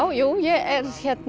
ég er